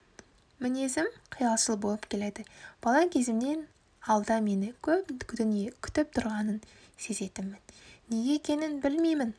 мінезім қиялшыл болып келеді бала кезімнен алда мені көп дүние күтіп тұрғанын сезетінмін неге екенін білмеймін